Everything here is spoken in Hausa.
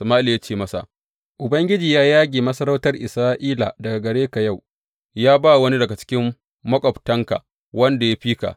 Sama’ila ya ce masa, Ubangiji ya yage masarautar Isra’ila daga gare ka yau, ya ba wa wani daga cikin maƙwabtanka wanda ya fi ka.